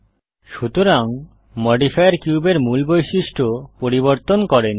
সুতরাং মডিফায়ার কিউবের মূল বৈশিষ্ট্য পরিবর্তন করেনি